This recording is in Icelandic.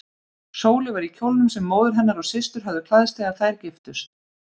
Sóley var í kjólnum sem móðir hennar og systur höfðu klæðst þegar þær giftust.